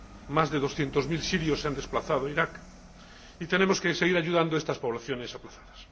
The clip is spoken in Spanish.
Más de doscientos mil sirios se han desplazado a Irak y tenemos que seguir ayudando a estas poblaciones desplazadas.